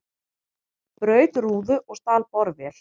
Braut rúðu og stal borvél